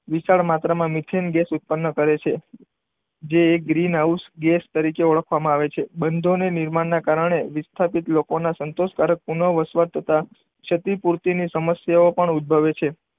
વિશાળ માત્રામાં methane gas ઉત્પન્ન કરે છે. જે એ ગ્રીન હાઉસ ગેસ તરીકે ઓળખવામાં આવે છે. બંધોની નિર્માણના કારણે વિસ્થાપિત લોકોના સંતોષકારક પુનઃ વસવાટ તથા ક્ષતિ પૂરતીને સમસ્યાઓ પણ ઉદભવે છે.